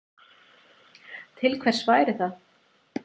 Til hvers væri það?